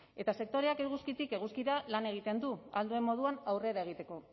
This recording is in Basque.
eta sektoreak eguzkitik eguzkira lan egiten du ahal duen moduan aurrera egiteko